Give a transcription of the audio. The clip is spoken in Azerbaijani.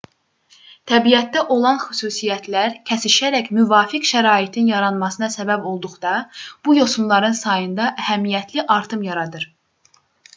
təbiətdə olan xüsusiyyətlər kəsişərək müvafiq şəraitin yaranmasına səbəb olduqda bu yosunların sayında əhəmiyyətli artım yaradır